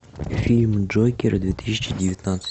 фильм джокер две тысячи девятнадцать